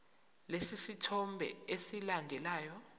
lesi sithombe esilandelayo